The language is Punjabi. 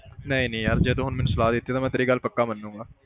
ਨਹੀਂ ਨਹੀਂ ਯਾਰ ਜੇ ਤੂੰ ਹੁਣ ਮੈਨੂੰ ਸਲਾਹ ਦਿੱਤੀ ਤੇ ਮੈਂ ਤੇਰੀ ਗੱਲ ਪੱਕਾ ਮੰਨਾਗਾ।